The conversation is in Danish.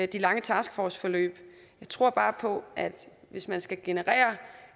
de lange taskforceforløb jeg tror bare på at hvis man skal generere